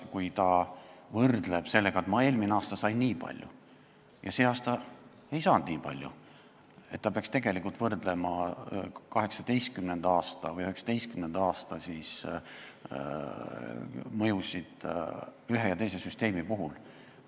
Ta võrdleb, et ta eelmine aasta sai nii palju ja see aasta ei saanud nii palju, aga ta peaks võrdlema mõjusid 2019. aastal ühe ja teise süsteemi puhul.